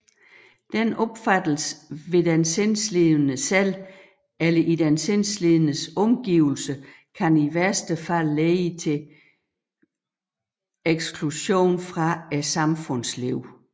Denne opfattelse hos den sindslidende selv eller i den sindslidendes omgivelser kan i værste fald lede til eksklusion fra samfundslivet